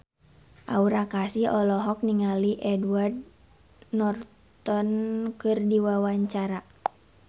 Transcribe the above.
Aura Kasih olohok ningali Edward Norton keur diwawancara